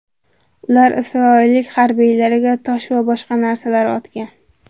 Ular isroillik harbiylarga tosh va boshqa narsalar otgan.